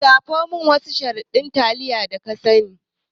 lissafo min wasu shahararrun taliya da ka sani.